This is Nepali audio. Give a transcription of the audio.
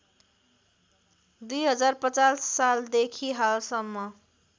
२०५० सालदेखि हालसम्म